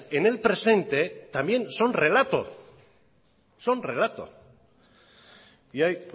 en el presente también son relatos son relatos y ahí